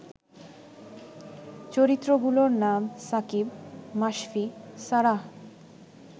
চরিত্রগুলোর নাম সাকিব, মাশফি, সারাহ